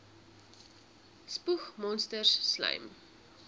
spoeg monsters slym